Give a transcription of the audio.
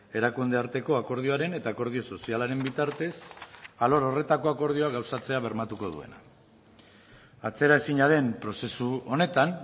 erakunde arteko akordioaren eta akordio sozialaren bitartez alor horretako akordioa gauzatzea bermatuko duena atzeraezina den prozesu honetan